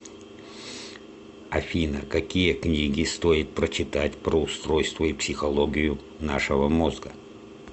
афина какие книги стоит прочитать про устройство и психологию нашего мозга